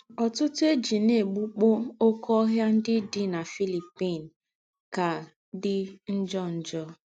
Ọ̀tùtù̀ è jí ná-ègbùkpọ́ óké óhìà ńdị́ dị́ na Philippine kà dị́ njò. njò.